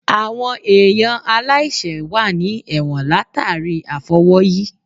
Àwọn èèyàn aláìsẹ̀ wà ní ẹ̀wọ̀n látàríi àfọwọ́yí